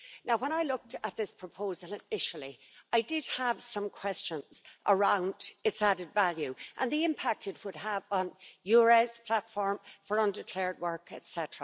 When I looked at this proposal initially, I did have some questions around its added value and the impact it would have on EURES, the platform for undeclared work, etc.